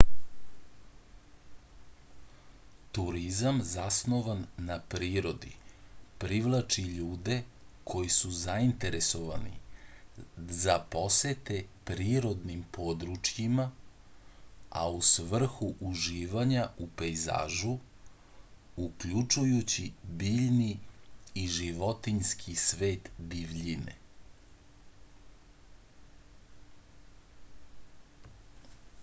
turizam zasnovan na prirodi privlači ljude koji su zainteresovani za posete prirodnim područjima a u svrhu uživanja u pejzažu uključjujući biljni i životinjski svet divljine